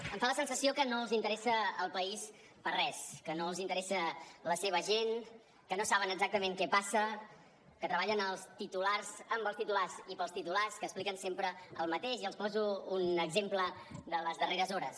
em fa la sensació que no els interessa el país per res que no els interessa la seva gent que no saben exactament què passa que treballen els titulars amb els titulars i pels titulars que expliquen sempre el mateix i els poso un exemple de les darreres hores